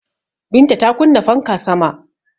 Binta ta kunna fanka sama